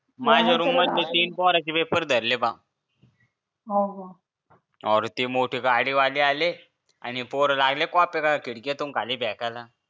माझ्या रूम मधले तीन पोरं चे पेपर धरले बा हो का हो अरे ते मोठे गाडीवाले आले आणि पोरं लागले कॉपी खिडकीतून खाली फेकायला